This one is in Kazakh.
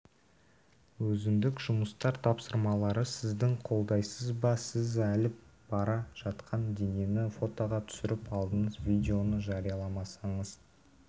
өзіндік жұмыстар тапсырмалары сіздің қолдайсыз ба сіз алып бара жатқан денені фотоға түсіріп алдыңыз видеоны жарияламасаңыз